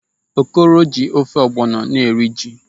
Okoro ji ofe ọgbọlọ na-eri ji.